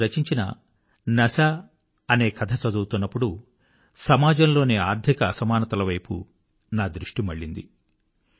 వారు రచించిన నశా అనే కథ చదువుతున్నప్పుడు సమాజంలోని ఆర్థిక అసమానతలవైపు నా దృష్టి మళ్ళింది